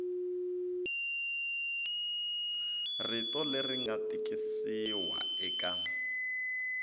rito leri nga tikisiwa eka